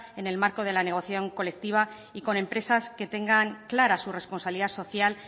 en el marco de la negociación colectiva y con empresas que tengan clara su responsabilidad social